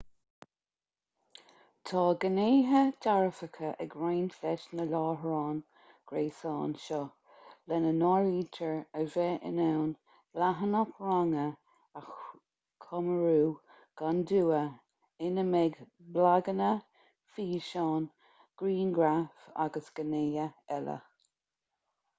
tá gnéithe dearfacha ag roinnt leis na láithreáin ghréasáin seo lena n-áirítear a bheith in ann leathanach ranga a chumrú gan dua ina mbeidh blaganna físeáin grianghraif agus gnéithe eile